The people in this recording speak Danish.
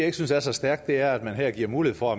ikke synes er så stærkt er at man her giver mulighed for